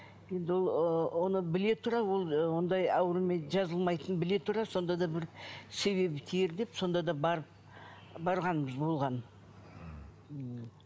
енді ол ы оны біле тұра ол ы ондай аурумен жазылмайтынын біле тұра сонда да бір себебі тиер деп сонда да барып барғанбыз болған